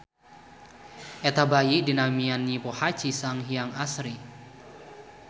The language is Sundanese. Eta bayi dinamian Nyi Pohaci Sanghyang Asri.